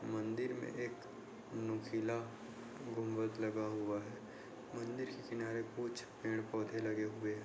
मंदिर में एक नुकीला गुंबद लगा हुआ है मंदिर के किनारे कुछ पेड़-पौधे लगे हुए हैं।